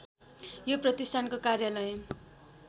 यो प्रतिष्ठानको कार्यालय